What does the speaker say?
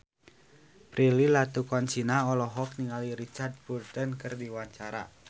Prilly Latuconsina olohok ningali Richard Burton keur diwawancara